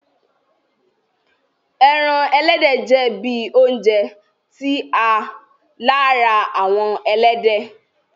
Ẹ́ran ẹlẹdẹ jẹ̀ bí ọ̀unjẹ̀ ti a làárà awọn ẹlẹdẹ.